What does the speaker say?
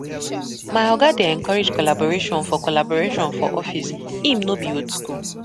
My oga dey encourage collaboration for collaboration for office, im no be old skool.